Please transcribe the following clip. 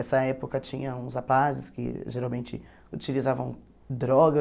Essa época tinha uns rapazes que geralmente utilizavam droga.